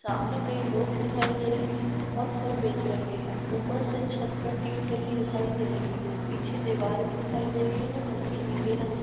सामने कई लोग दिखाई दे रहे है और फल बेच रहे है ऊपर से छत पे टीन डली दिखाई दे रही है पीछे दिवार भी दिखाई दे रही जो हलके नीले रंग की।